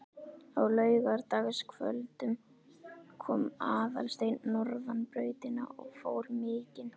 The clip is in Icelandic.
Á laugardagskvöldum kom Aðalsteinn norðan brautina og fór mikinn.